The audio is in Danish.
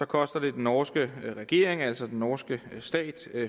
koster det den norske regering altså den norske stat